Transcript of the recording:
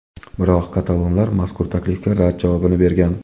Biroq katalonlar mazkur taklifga rad javobini bergan.